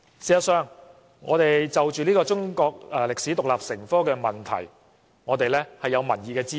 事實上，就着中史獨立成科的問題，我們是有民意的支持。